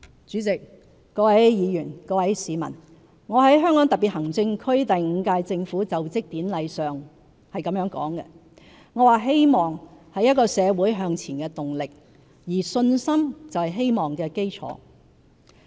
主席、各位議員、各位市民，我在香港特別行政區第五屆政府就職典禮上說："希望是一個社會向前的動力，而信心就是希望的基礎。